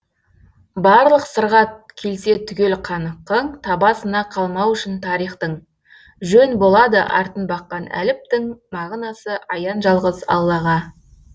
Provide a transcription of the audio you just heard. барлық сырға келсе түгел қаныққың табасына қалмау үшін тарихтың жөн болады артын баққан әліптің мағынасы аян жалғыз аллаға